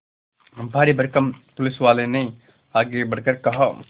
भारीभरकम पुलिसवाले ने आगे बढ़कर कहा